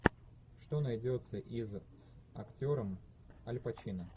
что найдется из с актером аль пачино